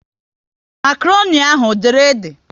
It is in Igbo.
Makroni ahụ ọ dere ede?